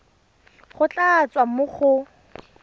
go tla tswa mo go